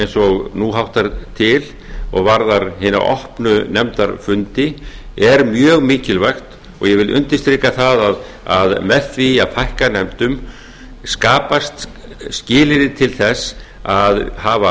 eins og nú háttar til og varðar hina opnu nefndarfundi er mjög mikilvægt og ég vil undirstrika það að með því að fækka nefndum skapast skilyrði til þess að hafa